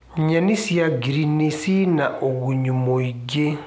Nyenĩ cĩa ngĩrĩnĩ cĩĩna ũgũnyũ mũĩngĩ